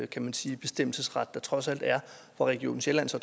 kan man sige der trods alt er hvor region sjælland så